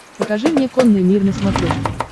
покажи мне конный мир на смотрешке